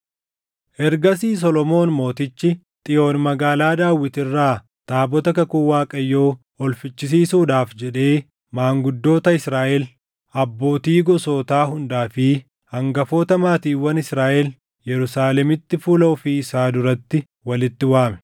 Ergasii Solomoon Mootichi Xiyoon Magaalaa Daawit irraa taabota kakuu Waaqayyoo ol fichisiisuudhaaf jedhee maanguddoota Israaʼel, abbootii gosootaa hundaa fi hangafoota maatiiwwan Israaʼel Yerusaalemitti fuula ofii isaa duratti walitti waame.